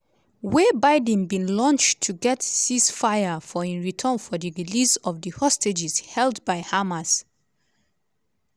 wey biden bin launch to get ceazefire for in return for di release of the hostages held by hamas.